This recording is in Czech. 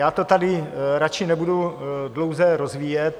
Já to tady radši nebudu dlouze rozvíjet.